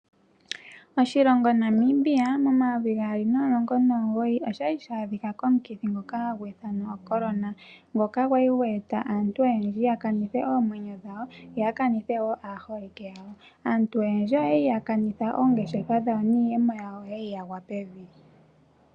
Oshilongo Namibia momayovi gaali nomulongo nomugoyi oshali sha adhika komukithi ngoka hagu ithanwa Ocorona. Ngoka gwa li gwe eta aantu oyendji ya kanithe oomwenyo dhawo yo ya kanithe wo aaholike yawo. Aantu oyendji oyali ya kanitha oongeshefa dhawo niiyemo yawo oyali ya gwa pevi.